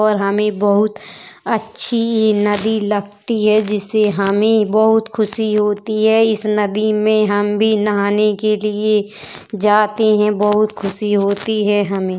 और हमें बहुत अच्छी नदी लगती है जिसे हमें बहुत खुशी होती है। इस नदी में हम भी नहाने के लिए जाते हैं। बहुत खुशी होती है हमें।